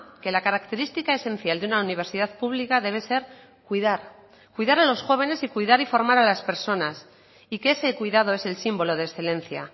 que la característica esencial de una universidad pública debe ser cuidar cuidar a los jóvenes y cuidar y formar a las personas y que ese cuidado es el símbolo de excelencia